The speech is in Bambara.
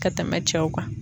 Ka tɛmɛ cɛw kan.